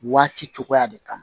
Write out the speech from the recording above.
Waati cogoya de kama